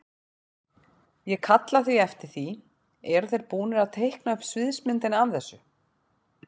Ég kalla eftir því, eru þeir búnir að teikna upp sviðsmyndina af þessu?